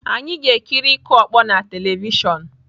Anyị ga-ekiri ịkụ ọkpọ na telivishọn.